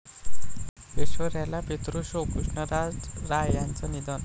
ऐश्वर्याला पितृशोक, कृष्णराज राय यांचं निधन